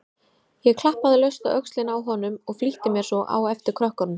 Ég klappaði laust á öxlina á honum og flýtti mér svo á eftir krökkunum.